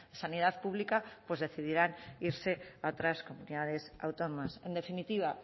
sanidad pública pues decidirán irse a otras comunidades autónomas en definitiva